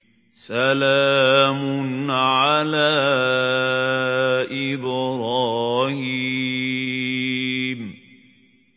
سَلَامٌ عَلَىٰ إِبْرَاهِيمَ